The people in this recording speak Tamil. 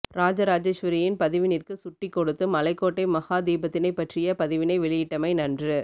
இராஜ இராஜேஸ்வரியின் பதிவினிற்கு சுட்டி கொடுத்து மலைகோட்டை மகா தீபத்தினைப் பற்றிய பதிவினை வெளியிட்டமை நன்று